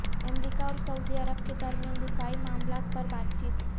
امریکہ اور Saudi Arab کے درمیان دفاعی معاملات پر بات چیت